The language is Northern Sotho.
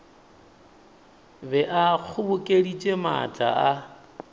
be a kgobokeditše maatla a